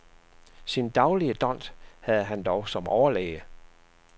Sin daglige dont havde han dog som overlæge.